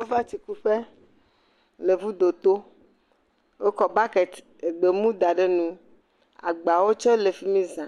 Amewo va tsi kuƒe le ŋudo to. Wokɔ bɔkiti gbemu da ɖe nu. Agbawo tsɛ le fi mi zã.